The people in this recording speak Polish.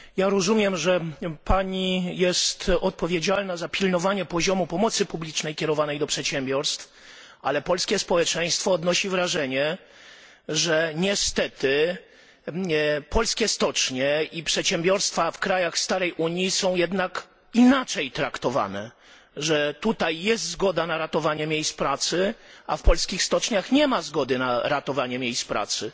Rozumiem, że jest pani odpowiedzialna za pilnowanie poziomu pomocy publicznej kierowanej do przedsiębiorstw, ale polskie społeczeństwo odnosi wrażenie, że niestety polskie stocznie i przedsiębiorstwa w krajach starej Unii są jednak inaczej traktowane, że tutaj istnieje zgoda na ratowanie miejsc pracy, a w polskich stoczniach nie ma zgody na ratowanie miejsc pracy.